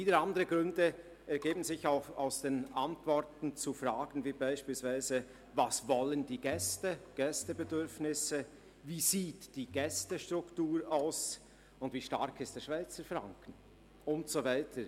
Wieder andere Gründe ergeben sich aus den Antworten zu Fragen wie beispielsweise, was die Gäste wollen, welches ihre Bedürfnisse sind, wie die Gästestruktur aussieht, wie stark der Schweizer Franken ist und so weiter.